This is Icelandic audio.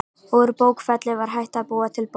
Úr bókfelli var hægt að búa til bók.